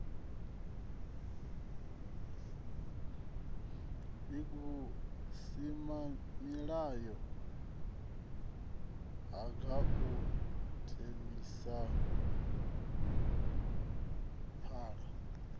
gpg vhusimamilayo ha gauteng mimasipala